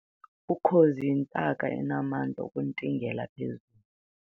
Ukhozi yintaka enamandla okuntingela phezulu